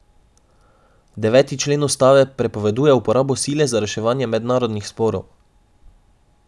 Deveti člen ustave prepoveduje uporabo sile za reševanje mednarodnih sporov.